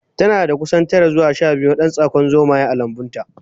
Tanada kusan tara zuwa shabiyu na dan tsakon zomaye a lambunta